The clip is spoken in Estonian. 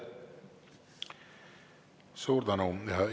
Suur tänu!